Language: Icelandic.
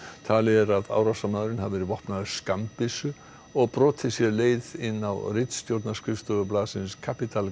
talið er að árásarmaðurinn hafi verið vopnaður skammbyssu og brotið sér leið inn á ritstjórnarskrifstofur blaðsins Capital